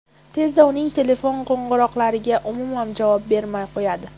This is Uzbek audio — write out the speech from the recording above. Tezda uning telefon qo‘ng‘iroqlariga umuman javob bermay qo‘yadi.